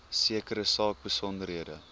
sekere saak besonderhede